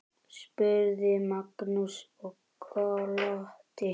spurði Magnús og glotti.